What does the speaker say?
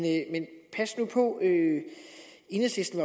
pas nu på enhedslisten